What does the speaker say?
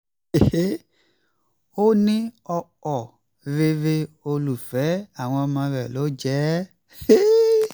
ó ní ọkọ rere olùfẹ́ àwọn ọmọ rẹ̀ ló jẹ́